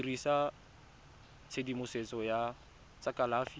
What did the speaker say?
dirisa tshedimosetso ya tsa kalafi